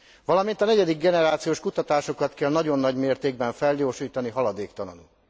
Valamint a negyedik generációs kutatásokat kell nagyon nagy mértékben felgyorsítani haladéktalanul.